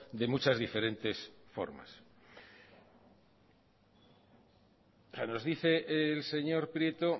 de muchas diferentes formas nos dice el señor prieto